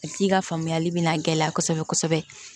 A tigi ka faamuyali bɛ na gɛlɛya kosɛbɛ kosɛbɛ